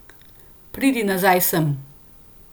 Pridi nazaj sem.